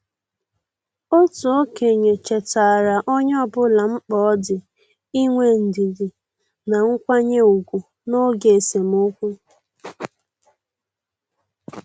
Otu okenye chetaara onye ọbụla mkpa ọ dị inwe ndidi na nkwanye ùgwù n' oge esemokwu.